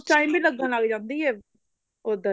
time ਵੀ ਲੱਗਣ ਲੱਗ ਜਾਂਦੀ ਏ ਉੱਧਰ